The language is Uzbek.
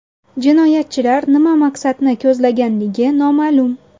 Jinoyatchilar nima maqsadni ko‘zlaganligi noma’lum.